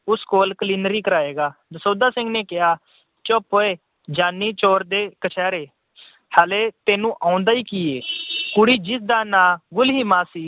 ਉਸ ਕੋਲ ਕਲੀਨਰੀ ਕਰਾਏਗਾ। ਦਸੌਂਧਾ ਸਿੰਘ ਨੇ ਕਿਹਾ, ਚੁੱਪ ਉਏ, ਜਾਨੀ ਚੋਰ ਦੇ ਕਛਹਿਰੇ, ਹਾਲੇ ਤੈਨੂੰ ਆਉਂਦਾ ਹੀ ਕੀ ਹੈ, ਕੁੜੀ ਜਿਸਦਾ ਨਾਂ ਗੁਲੀਮਾ ਸੀ,